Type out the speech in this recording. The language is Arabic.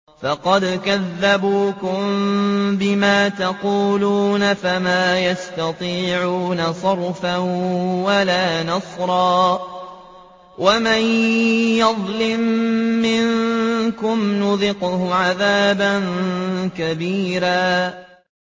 فَقَدْ كَذَّبُوكُم بِمَا تَقُولُونَ فَمَا تَسْتَطِيعُونَ صَرْفًا وَلَا نَصْرًا ۚ وَمَن يَظْلِم مِّنكُمْ نُذِقْهُ عَذَابًا كَبِيرًا